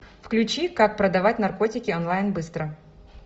включи как продавать наркотики онлайн быстро